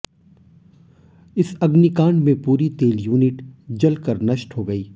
इस अग्निकांड में पूरी तेल यूनिट जलकर नष्ट हो गई